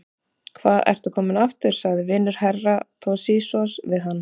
Hva ertu kominn aftur, sagði vinur Herra Toshizoz við hann.